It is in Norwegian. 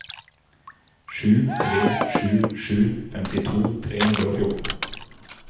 sju tre sju sju femtito tre hundre og fjorten